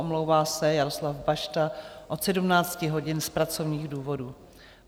Omlouvá se Jaroslav Bašta od 17 hodin z pracovních důvodů.